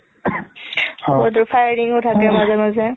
firing ও থাকে মাজে মাজে